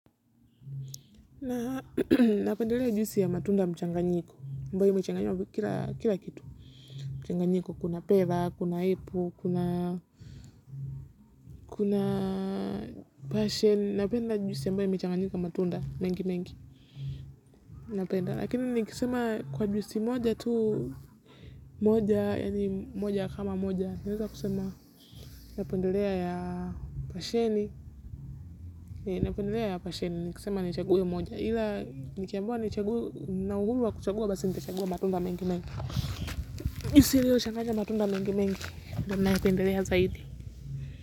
Napendelea juisi ya matunda mchanganyiko ambao imechanganywa kira kitu. Mchanganyiko kuna pera, kuna ipu, kuna basheni. Napenda jusi ambayo imechanganyiko matunda mengi mengi. Lakini nikisema kwa jusi moja tu moja yani moja kama moja nawez kusema napendelea ya basheni. Nipendelea ya basheni ni kisema nichaguwe moja ila nikiambiwa nichague nina uguma wa kuchaguwa basi nitachaguwa matunda mingi mingi juisi lilo changanya matunda mingi mingi ndio napendelea zaidi.